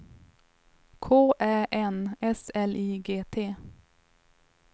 K Ä N S L I G T